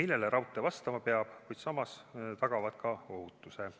millele raudtee vastama peab, kuid mis samas tagavad ka ohutuse.